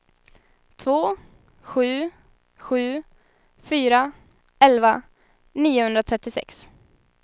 två sju sju fyra elva niohundratrettiosex